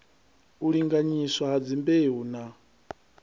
u linganyiswa ha dzimbeu na